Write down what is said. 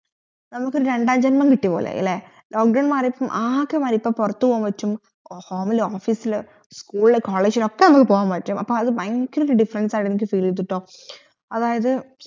നമ്മക് രണ്ടാം ജൻമം കിട്ടിയപോലെ ആയല്ലേ lock down മാറിയപ്പം ആകെ മാറി ഇപ്പോ പൊറത് പോകാൻ പറ്റും home ലോ office ഇൽ school college ലോക്കെ നമ്മുക് പറ്റും അപ്പോ അത് ഭയങ്കര defference ആയി feel യ്തുട്ടോ അതായത്